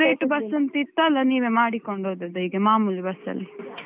Separate bus ಅದಕ್ಕೆ separate bus ಅಂತ ಇತ್ತಾ ಅಲ್ಲ ನೀವೇ ಮಾಡಿಕೊಂಡು ಹೋದದ್ದಾ ಹೀಗೆ ಮಾಮೂಲಿ bus ಅಲ್ಲಿ?